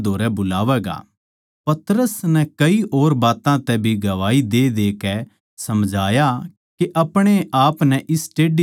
पतरस नै कई और बात्तां तै भी गवाही देदेकै समझाया के अपणे आपनै इस टेढ़ी जात तै बचाओ